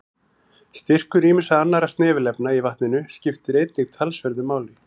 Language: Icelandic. Styrkur ýmissa annarra snefilefna í vatninu skiptir einnig talsverðu máli.